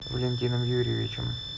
валентином юрьевичем